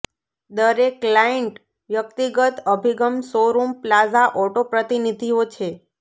દરેક ક્લાઈન્ટ વ્યક્તિગત અભિગમ શોરૂમ પ્લાઝા ઓટો પ્રતિનિધિઓ છે